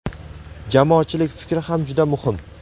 Jamoatchilik fikri ham juda muhim.